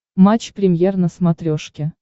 матч премьер на смотрешке